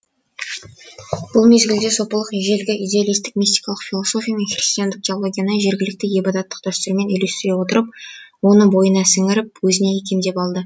бұл мезгілде сопылық ежелгі идеалистік мистикалық философия мен христиандық теологияны жергілікті ғибадаттық дәстүрмен үйлестіре отырып оны бойына сіңіріп өзіне икемдеп алды